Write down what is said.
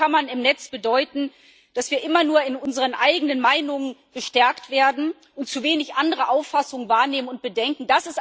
Echokammern im Netz bedeuten, dass wir immer nur in unseren eigenen Meinungen bestärkt werden und zu wenig andere Auffassungen wahrnehmen und bedenken.